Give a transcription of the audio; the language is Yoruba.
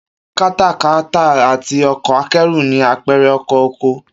Katakata àti ọkọ̀ akẹ́rù ni àpẹrẹ ọkọ̀ oko